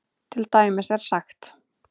Til dæmis er sagt